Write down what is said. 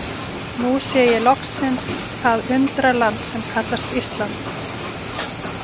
Nú sé ég loksins það undraland sem kallast Ísland.